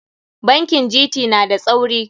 Bankin GT na da tsauri.